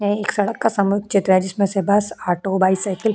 यह एक सड़क का समग्र चित्र है जिसमें से बस ऑटो बाइसिकल --